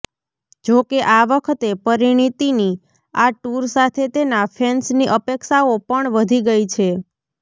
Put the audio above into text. જોકે આ વખતે પરિણીતીની આ ટૂર સાથે તેના ફેન્સની અપેક્ષાઓ પણ વધી ગઈ છે